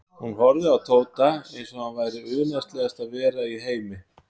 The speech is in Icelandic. Hún horfði á Tóta eins og hann væri unaðslegasta vera í heimi.